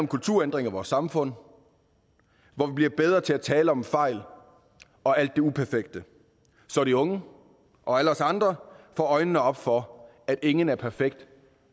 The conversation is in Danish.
kulturændring af vores samfund hvor vi bliver bedre til at tale om fejl og alt det uperfekte så de unge og alle os andre får øjnene op for at ingen er perfekt